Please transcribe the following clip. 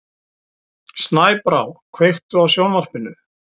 Snæbrá, kveiktu á sjónvarpinu.